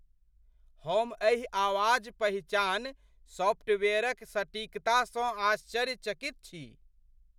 हम एहि आवाज पहिचान सॉफ्टवेयरक सटीकतासँ आश्चर्यचकित छी।